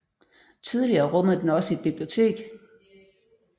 Tidligere rummede den også et bibliotek